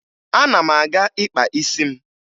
Ana m aga ịkpa isi m